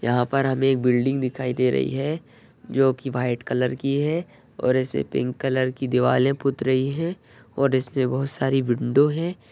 यहाँ पर हमे एक बिल्डिंग दिखाई दे रही है जो की व्हाइट कलर की है और ऐसे पिंक कलर की दिवारे पूत रही है और इसमे बहुत सारी विंडो है।